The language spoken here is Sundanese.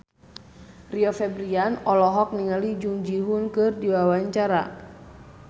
Rio Febrian olohok ningali Jung Ji Hoon keur diwawancara